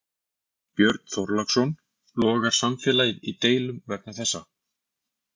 Björn Þorláksson: Logar samfélagið í deilum vegna þessa?